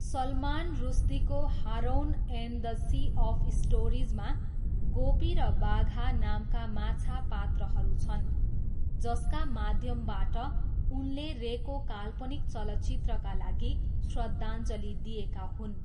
सलमान रुस्दीको 'Haroun and the sea of stories' मा गोपी र बाघा नामका माछा पात्रहरू छन् जसका माध्यमबाट उनले रेको काल्पनिक चलचित्रका लागि श्रद्धाञ्जली दिएका हुन्।